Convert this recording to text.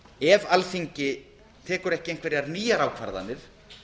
ef alþingi tekur ekki einhverjar nýjar ákvarðanir